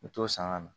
U bɛ t'o san ka na